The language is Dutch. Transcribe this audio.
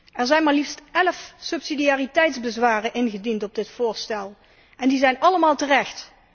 Er zijn maar liefst elf subsidiariteitsbezwaren ingediend op dit voorstel en die zijn allemaal terecht.